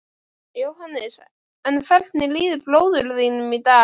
Jóhannes: En hvernig líður bróður þínum í dag?